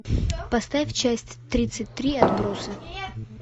поставь часть тридцать три отбросы